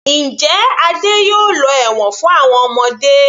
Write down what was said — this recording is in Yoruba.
Njẹ́ Adé yóò lọ ẹ̀wọ̀n fún àwọn ọmọdé.